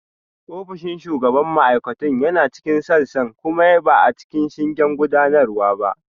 Ofishin shugaban ma'aikatun yana cikin sassan kuma ba a cikin shingen gudanarwa ba